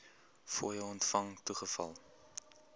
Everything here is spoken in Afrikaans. fooie ontvang toegeval